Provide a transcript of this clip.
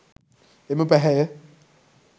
එම පැහැය